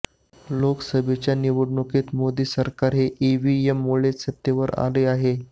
लोकसभेच्या निवडणुकीत मोदी सरकार हे ईव्हीएममुळेच सत्तेवर आले आहे